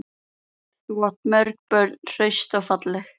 Þú átt mörg börn, hraust og falleg.